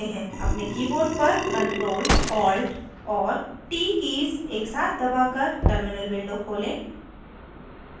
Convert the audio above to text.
अपने keyboard पर ctrl alt और t कीज़ एक साथ दबाकर terminal window खोलें